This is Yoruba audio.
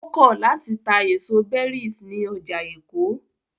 Ó kọ̀ láti ta èso berries ní ọjà Èkó.